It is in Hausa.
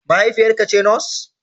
Mahaifiyarka ce Nurse?